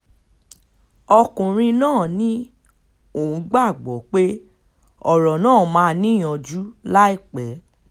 ọkùnrin náà ní òun gbàgbọ́ pé ọ̀rọ̀ náà máa níyanjú láìpẹ́